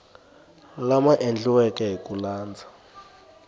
lama endliweke hi ku landza